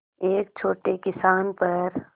एक छोटे किसान पर